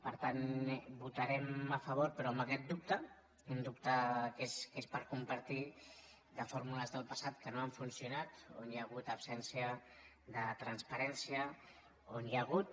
per tant hi votarem a favor però amb aquest dubte un dubte que és per compartir de fórmules del passat que no han funcionat on hi ha hagut absència de transparència on hi ha hagut